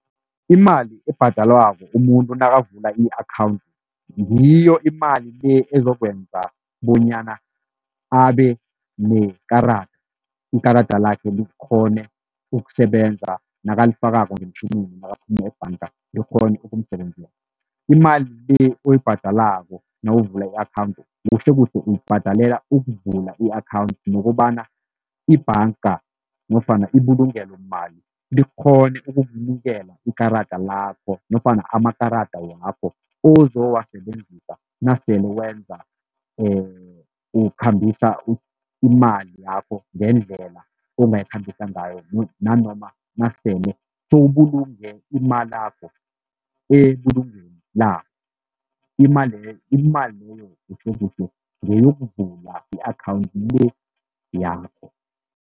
Imali ebhadalwako umuntu nakavula i-akhawundi ngiyo imali le ezokwenza bonyana abene ikarada, ikarada lakhe likghone ukusebenza nakalifakako ngeemtjhinini nakaphumu ebhanga likghone ukumsebenzela. Imali le oyibhadalako nawuvula i-akhawundi kuhlekuhle uyibhadalela ukuvula i-akhawundi nokobana ibhanga nofana ibulungelomali likghone ukukunikela ikarada lakho nofana amakarada wakho ozowasebenzisa nasele wenza ukhambisa imali yakho ngendlela ongayikhambisa ngayo nanoma nasele sowubulunge imalakho ebulungweni labo imali leyo kuhlekuhle ngeyokuvula i-akhawundi le yakho.